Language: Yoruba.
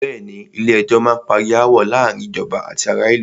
Bẹ̀ẹ́ni, Ilé ẹjọ́ má n parí aáwọ̀ láàárín ìjọba àti ará ìlú.